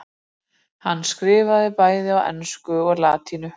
Hann skrifaði bæði á ensku og latínu.